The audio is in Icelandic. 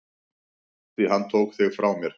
Því hann tók þig frá mér.